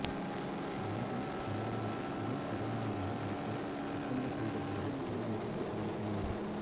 பைஜு பாவ்ராவில் இணை கதாநாயகியாக நடிக்க ஒப்பந்தம் செய்த போதே பலர் எதிர்ப்பு தெரிவித்தனர்